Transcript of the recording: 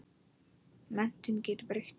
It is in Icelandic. Menntun getur breytt því.